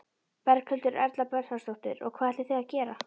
Berghildur Erla Bernharðsdóttir: Og hvað ætlið þið að gera?